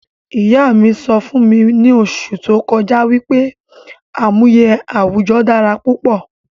Ìyá mí sọ fún mi ni oṣù tó kọjá wípé àmúyẹ àwùjọ dára púpọ̀